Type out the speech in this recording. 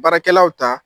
Baarakɛlaw ta